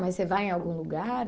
Mas você vai em algum lugar?